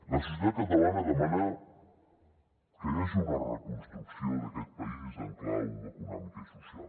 la societat catalana demana que hi hagi una reconstrucció d’aquest país en clau econòmica i social